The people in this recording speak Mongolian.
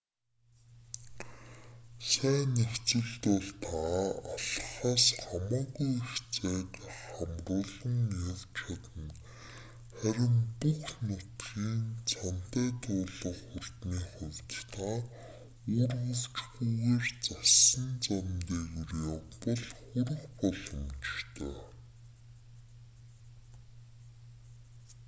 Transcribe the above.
сайн нөхцөлд бол та алхахаас хамаагүй их зайг хамруулан явж чадна харин бүх нутгийг цанатай туулах хурдны хувьд та үүргэвчгүйгээр зассан зам дээгүүр явбал хүрэх боломжтой